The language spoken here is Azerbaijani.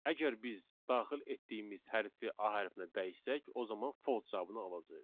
Əgər biz daxil etdiyimiz hərfi A hərfinə dəyişsək, o zaman false cavabını alacağıq.